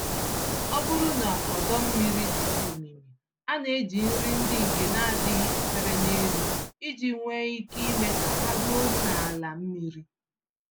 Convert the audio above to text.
Ọbụrụ na ọdọ-mmiri dị omimi, a neji nri ndị nke n'adịghị esere n'elu iji nwe ike ime ka ha ruo n'ala mmiri.